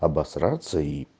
обосраться и